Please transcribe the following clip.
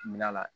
Mil'a la